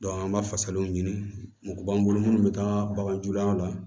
an b'a fasaw ɲini mɔgɔ b'an bolo minnu bɛ taa baganjuguya la